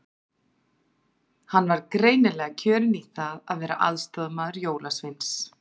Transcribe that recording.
Hann var greinilega kjörinn í það að vera aðstoðarmaður jólasveins.